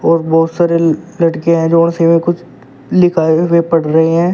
बहुत सारे लड़के हैं जो उसी में कुछ लिखाये हुए पढ़ रहे हैं।